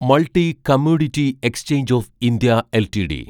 multi commodity exchange of India LTD